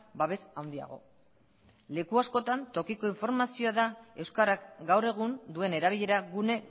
babes handiago leku askotan tokiko informazioa da euskarak gaur egun duen erabilera gune